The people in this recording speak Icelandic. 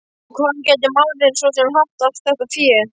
Og hvaðan gæti maðurinn svo sem haft allt þetta fé?